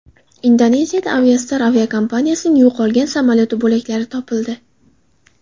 Indoneziyada Aviastar aviakompaniyasining yo‘qolgan samolyoti bo‘laklari topildi.